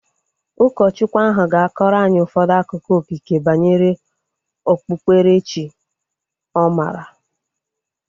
Ụkọchukwu ahu ga-akọrọ anyị ụfọdụ akụkọ okike banyere okpukpere chi ọ maara